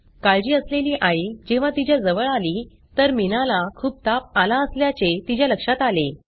काळजी असलेली आई जेव्हा तिज्या जवळ आली तर मीनाला खूप ताप आला असल्याचे तिज्या लक्षात आले